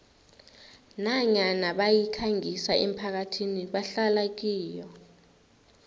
nanyana bayikhangisa emphakathini ebahlala kiyo